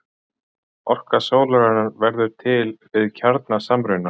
orka sólarinnar verður til við kjarnasamruna